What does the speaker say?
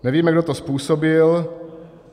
Nevíme, kdo to způsobil.